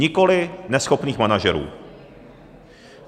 Nikoli neschopných manažerů.